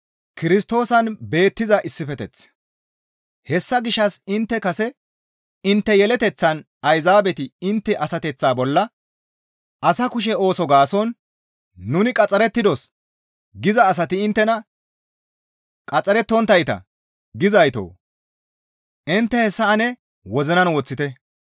Hessa gishshas intte kase intte yeleteththan Ayzaabeti intte asateththa bolla asa kushe ooso gaason, «Nuni qaxxarettidos» giza asati inttena, «Qaxxarettonttayta» gizaytoo! Intte hessa ane wozinan woththite.